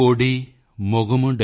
ਮੁੱਪਦੂ ਕੋਡੀ ਮੁਗਮੁਡੈਯਾਲ